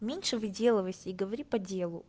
меньше выделывайся и говори по делу